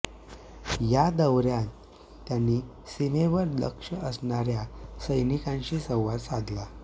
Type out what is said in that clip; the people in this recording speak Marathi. या दौऱयात त्यांनी सीमेवर दक्ष असणाऱया सैनिकांशीही संवाद साधला